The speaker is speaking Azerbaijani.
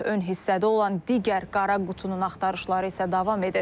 Ön hissədə olan digər qara qutunun axtarışları isə davam edir.